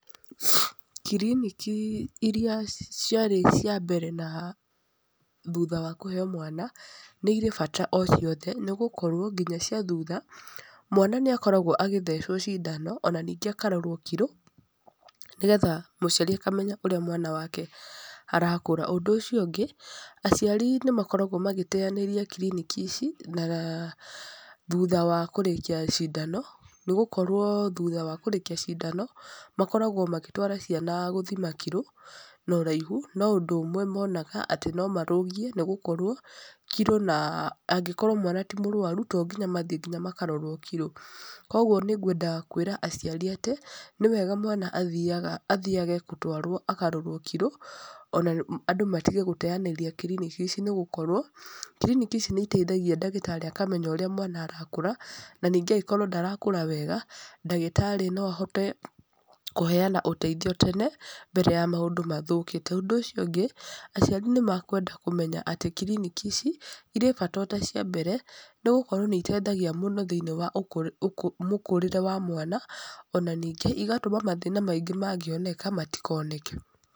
Kiriniki irĩa ciarĩ cia mbere na thutha wa kũheeo mwana, nĩ irĩ bata o ciothe. Nĩgũkorwo nginya cia thutha, mwana nĩ akoragwo agĩthecwo cindan, ona ningĩ akarorwo kiro, nĩgetha mũciari akamenya ũrĩa mwana wake arakũra. Ũndũ ũcio ũngĩ, aciari nĩ makoragwo magĩteanĩria kiriniki ici, na thutha wa kũrĩkia cindano, nĩ gũkorwo thutha wa kũrĩkia cindano, makoragwo magĩtwara ciana gũthima kiro na ũraihu. No ũndũ ũmwe monaga, atĩ no marũgie, nĩ gũkorwo, kiro na angĩkorwo mwana ti mũrũaru, to nginya mathiĩ nginya makarorwo kiro. Kũguo nĩ ngwenda kwĩra aciari atĩ, nĩ wega mwana athiaga athiage gũtwarwo akarorwo kiro, ona andũ matige gũteanĩria kiriniki ici nĩgũkorwo, kiriniki ici nĩ iteithagia ndagĩtarĩ akamenya ũrĩa mwana arakũra, na ningĩ angĩkorwo ndarakũra wega, ndagĩtarĩ no ahote kũheana ũteithio tene, mbere ya maũndũ mathũkĩte. Ũndũ ũcio ũngĩ, aciari nĩ makwenda kũmenya atĩ kiriniki ici, irĩ bata o ta cia mbere, nĩ gũkorwo nĩ iteithagia mũno thĩiniĩ wa mũkũrĩre wa mwana, ona ningĩ, igatũma mathĩna maingĩ mangĩoneka, matikoneke.